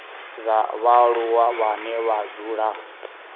dza vhaaluwa vhane vha dzula